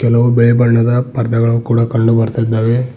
ಹಲವು ಬಿಳಿ ಬಣ್ಣದ ಪರ್ದೆಗಳು ಕೂಡ ಕಂಡು ಬರ್ತಿದ್ದಾವೆ.